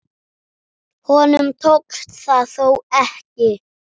Honum tókst það þó ekki.